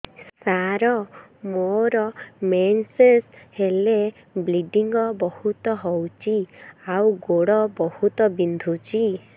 ସାର ମୋର ମେନ୍ସେସ ହେଲେ ବ୍ଲିଡ଼ିଙ୍ଗ ବହୁତ ହଉଚି ଆଉ ଗୋଡ ବହୁତ ବିନ୍ଧୁଚି